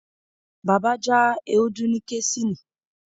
Baba ja ewdu ni kesini